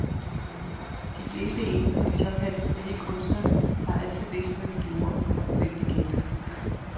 De fleste inden for de såkaldt frie kunster har altid vidst, hvad de gjorde, og for hvem de gjorde det.